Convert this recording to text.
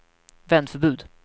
vändförbud